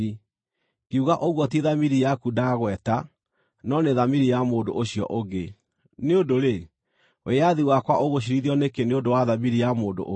ngiuga ũguo ti thamiri yaku ndagweta, no nĩ thamiri ya mũndũ ũcio ũngĩ. Nĩ ũndũ-rĩ, wĩyathi wakwa ũgũciirithio nĩkĩ nĩ ũndũ wa thamiri ya mũndũ ũngĩ?